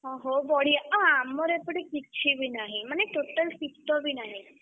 ଓହୋ ବଢିଆ ଆଉ ଆମର ଏପଟେ କିଛି ବି ନାହିଁ ମାନେ total ଶୀତ ବି ନାହିଁ।